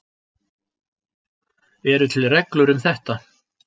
Eru til reglur um þetta?